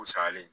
Salen